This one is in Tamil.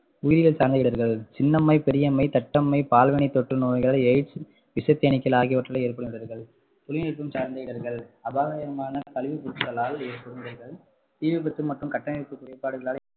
உயிரியல் சார்ந்த இடர்கள் சின்னம்மை, பெரியம்மை, தட்டம்மை, பால்வினை தோற்று நோய், எய்ட்ஸ் விசத்தேனீக்கள் ஆகியவற்றால் ஏற்படும் இடர்கள் தொழில்நுட்பம் சார்ந்த இடர்கள் அபாயகரமான கழிவுப்பொருட்களால் ஏற்படும் இடர்கள் தீ விபத்து மற்றும் கட்டமைப்பு குறைபாடுகளால்